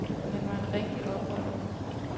Han var en rigtig oprører.